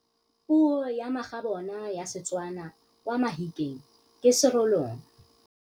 Puô ya magabôna ya Setswana kwa Mahikeng ke Serolong.